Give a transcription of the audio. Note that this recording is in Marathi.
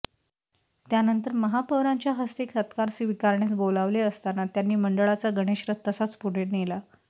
त्यानंतर महापौरांच्या हस्ते सत्कार स्विकारण्यास बोलावले असता त्यांनी मंडळाचा गणेश रथ तसाच पुढे नेला